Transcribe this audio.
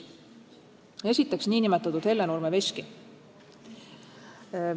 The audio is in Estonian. Esiteks, nn Hellenurme veski.